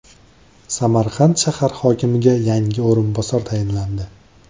Samarqand shahar hokimiga yangi o‘rinbosar tayinlandi.